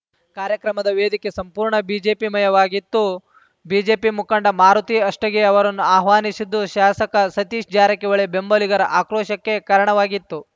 ಕಾರ್ಯಕ್ರಮದ ವೇದಿಕೆ ಸಂಪೂರ್ಣ ಬಿಜೆಪಿಮಯವಾಗಿತ್ತು ಬಿಜೆಪಿ ಮುಖಂಡ ಮಾರುತಿ ಅಷ್ಟಗಿ ಅವರನ್ನು ಆಹ್ವಾನಿಸಿದ್ದು ಶಾಸಕ ಸತೀಶ ಜಾರಕಿಹೊಳಿ ಬೆಂಬಲಿಗರಆಕ್ರೋಶಕ್ಕೆ ಕಾರಣವಾಗಿತ್ತು